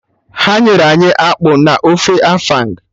Ha nyere anyị akpụ na ofe afang